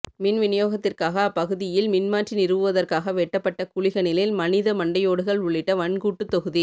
மின் விநியோகத்திற்காக அப்பகுதியில் மின்மாற்றி நிறுவுவதற்காக வெட்டப்பட்ட குழிகளினில் மனித மண்டையோடுகள் உள்ளிட்ட வன்கூட்டுத்தொகுதி